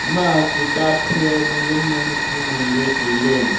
ema kitap hia enu zam jow nu chu ngan ley tai ley.